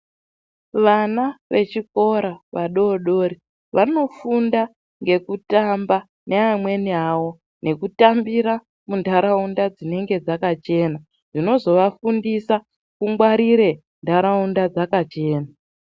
Vana vechikora vadodori vanofunda ngekutamba neamweni avo ,nekutambira munharaunda dzinenge dzakachena dzinozovafundisa kungwarire nharaunda dzakachena.